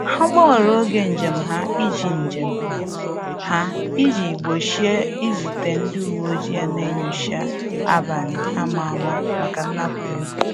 Ha gbanwere oge njem ha iji njem ha iji gbochie izute ndị uweojii na-enyocha abalị a ma ama maka nnapu ego